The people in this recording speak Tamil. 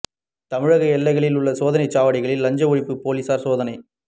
தமிழக எல்லைகளில் உள்ள சோதனைச் சாவடிகளில் லஞ்ச ஒழிப்பு போலீஸாா் சோதனை